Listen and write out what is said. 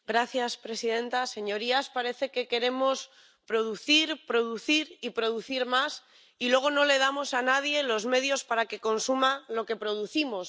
Señora presidenta, señorías, parece que queremos producir, producir y producir más, y luego no le damos a nadie los medios para que consuma lo que producimos.